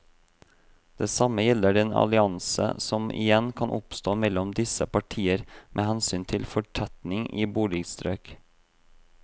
Det samme gjelder den allianse som igjen kan oppstå mellom disse partier med hensyn til fortetning i boligstrøk.